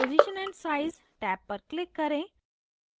position and size tab पर click करें